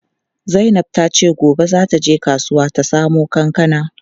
Zainab tace gobe za ta je kasuwa ta samo kankana.